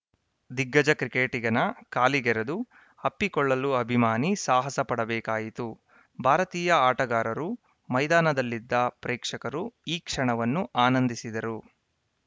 ದಿಗ್ಗಜ ಕ್ರಿಕೆಟಿಗನ ಕಾಲಿಗೆರೆದು ಅಪ್ಪಿಕೊಳ್ಳಲು ಅಭಿಮಾನಿ ಸಾಹಸ ಪಡಬೇಕಾಯಿತುಭಾರತೀಯ ಆಟಗಾರರು ಮೈದಾನದಲ್ಲಿದ್ದ ಪ್ರೇಕ್ಷಕರು ಈ ಕ್ಷಣವನ್ನು ಆನಂದಿಸಿದರು